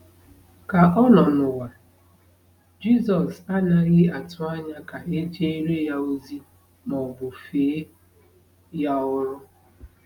Ka ọ nọ n’ụwa, Jizọs anaghị atụ anya ka e jere ya ozi ma ọ bụ fee ya ọrụ.